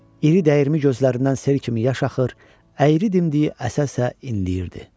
İri dəyirmi gözlərindən sel kimi yaş axır, əyri dimdiyi əsə-əsə inləyirdi.